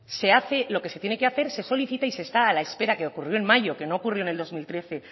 se hace lo que se tiene que hacer y se solicita y se está a la espera que ocurrió en mayo que no ocurrió en el dos mil trece